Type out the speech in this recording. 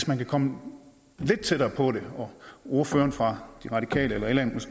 man kan komme lidt tættere på det og om ordførerne fra de radikale eller